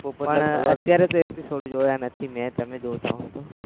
નથી મેં તમે જોતા હોવ તો